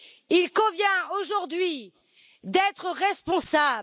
Il convient aujourd'hui d'être responsable.